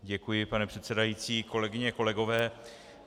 Děkuji, pane předsedající, kolegyně, kolegové.